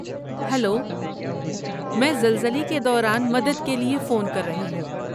Hello, میں زلزلے کے دوران مدد کے لیے فون کر رہی ہوں۔